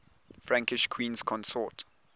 frankish queens consort